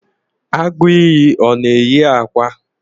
Agu iyi ọ na-eyi akwa?